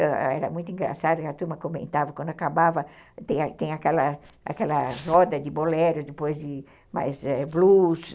Era muito engraçado, a turma comentava, quando acabava, tem aquela aquela roda de bolero, depois de mais blues,